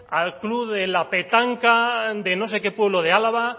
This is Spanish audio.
al club de la petanca de no sé qué pueblo de álava